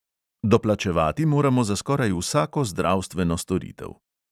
Doplačevati moramo za skoraj vsako zdravstveno storitev.